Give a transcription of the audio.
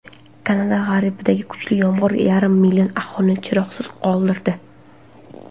Kanada g‘arbidagi kuchli yomg‘ir yarim million aholini chiroqsiz qoldirdi.